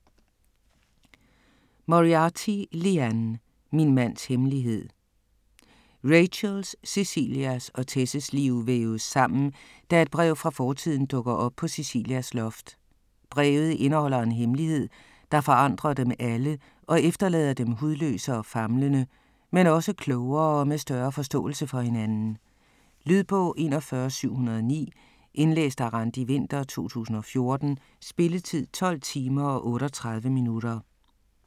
Moriarty, Liane: Min mands hemmelighed Rachels, Cecilias og Tess's liv væves sammen, da et brev fra fortiden dukker op på Cecilias loft. Brevet indeholder en hemmelighed, der forandrer dem alle og efterlader dem hudløse og famlende, men også klogere og med større forståelse for hinanden. Lydbog 41709 Indlæst af Randi Winther, 2014. Spilletid: 12 timer, 38 minutter.